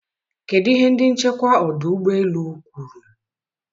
kedụ ihe ndị nchekwa ọdụ ụgbọ elu kwuru?